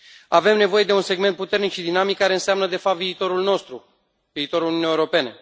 Avem nevoie de un segment puternic și dinamic care înseamnă, de fapt, viitorul nostru, viitorul Uniunii Europene.